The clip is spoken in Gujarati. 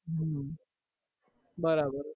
હમ બરાબર